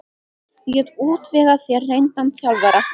Ég get útvegað þér reyndan þjálfara.